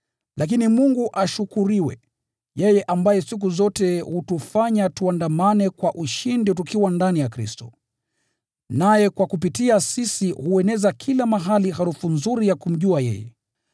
Lakini Mungu ashukuriwe, yeye ambaye siku zote hutufanya tuandamane kwa ushindi tukiwa ndani ya Kristo. Naye kupitia kwetu hueneza kila mahali harufu nzuri ya kumjua yeye.